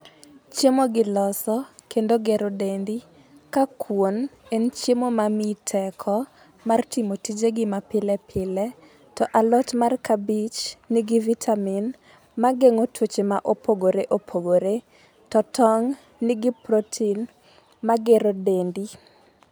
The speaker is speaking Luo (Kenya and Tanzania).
Chiemo gi loso kendo gero dendi, ka kuon en chiemo ma miyi teko mar timo tijegi ma pilepile to alot mar kabich nigi vitamin mageng'o tuoche ma opogore opogore, to tong' nigi protein magero dendi.